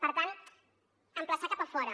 per tant emplaçar cap a fora